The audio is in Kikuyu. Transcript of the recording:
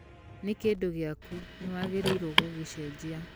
Nĩ kĩndũ gĩaku, nĩ wagĩrĩirũo gũgĩcenjia